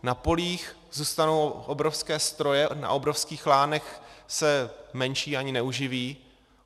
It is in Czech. Na polích zůstanou obrovské stroje, na obrovských lánech se menší ani neuživí.